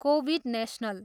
Covid national.